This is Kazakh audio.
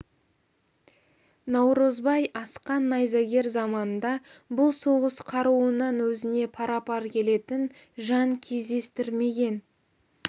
наурызбай асқан найзагер заманында бұл соғыс қаруынан өзіне пара-пар келетін жан кездестірмеген